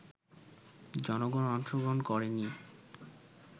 জনগণ অংশগ্রহণ করেনি